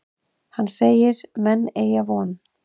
Hann segir menn eygja von.